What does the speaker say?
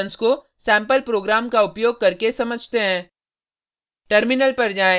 अब इन सभी फंक्शन्स को सेम्पल प्रोग्राम को उपयोग करके समझते हैं